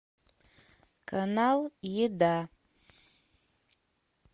канал еда